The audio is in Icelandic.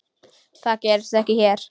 Það gerist ekki hér.